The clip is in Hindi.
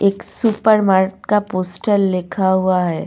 एक सुपरमार्ट का पोस्टर लिखा हुआ है।